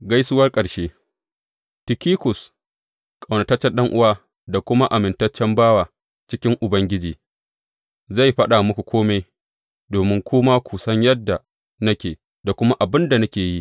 Gaisuwar ƙarshe Tikikus, ƙaunataccen ɗan’uwa da kuma amintaccen bawa cikin Ubangiji, zai faɗa muku kome, domin ku ma ku san yadda nake, da kuma abin da nake yi.